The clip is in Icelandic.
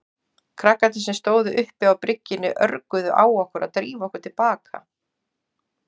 Krakkarnir sem stóðu uppi á bryggjunni örguðu á okkur að drífa okkur til baka.